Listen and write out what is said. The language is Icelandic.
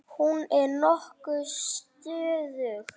Hún er nokkuð stöðug.